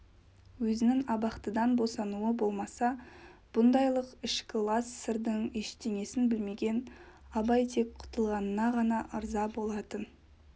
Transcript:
өзінің абақтыдан босануы болмаса бұндайлық ішкі лас сырдың ештеңесін білмеген абай тек құтылғанына ғана ырза болатын